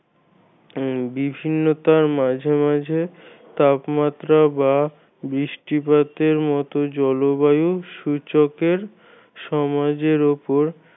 বিভিন্নতার মাঝে মাঝে তাপমাত্রা বা বৃষ্টিপাতের মত জলবায়ু সূচকের সমাজের উপর